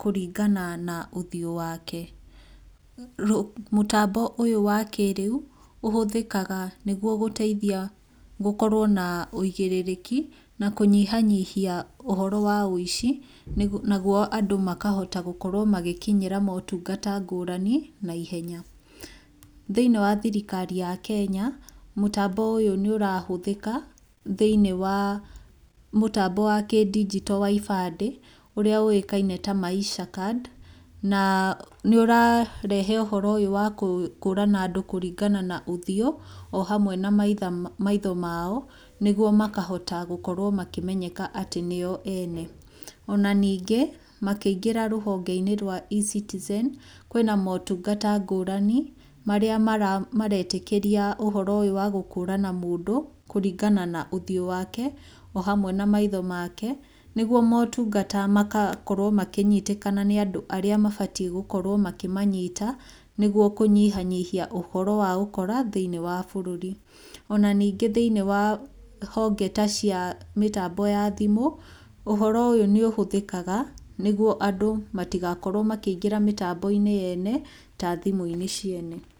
kũringana na ũthiũ wake. Mũtambo ũyũ wa kĩrĩu ũhũthĩkaga, nĩguo gũteithia gũkorwo na ũigĩrĩrĩki na kũnyihanyihia ũhoro wa ũici naguo andũ makahota gũkorwo magĩkinyĩra motungata ngũrani na ihenya. Thĩiniĩ wa thirikari ya Kenya, mũtambo ũyũ nĩ ũrahũthĩka thĩiniĩ wa mũtambo wa kĩndinjito wa ibandĩ, ũrĩa ũĩkaine ta Maisha Card, na nĩ ũrarehe ũhoro ũyũ wa gũkũrana andũ kũringana na ũthiũ, o hamwe na maitho mao nĩguo makahota gũkorwo makĩmenyeka atĩ nĩo ene. Ona ningĩ makĩingĩra rũhonge-inĩ rwa eCitizen, kwĩna motungata ngũrani marĩa maretĩkĩra ũhoro ũyũ wa gũkũrana mũndũ kũringana na ũthiũ wake o hamwe na maitho make, nĩguo motungata magakorwo makĩnyitĩkana nĩ andũ arĩa mabatiĩ gũkorwo makĩmanyita, nĩguo kũnyihanyihia ũhoro wa ũkora thĩinĩ wa bũrũri. Ona ningĩ thĩinĩ wa honge ta cia mũtambo wa thimũ, ũhoro ũyũ nĩ ũhũthĩkaga, nĩguo andũ matigakorwo makĩingĩra mĩtambo-inĩ yene, ta thimũ-inĩ ciene.